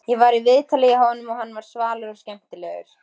Ég var í viðtölum hjá honum og hann var svalur og skemmtilegur.